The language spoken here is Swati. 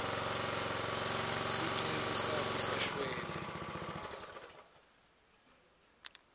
sicelo sakhe sashwele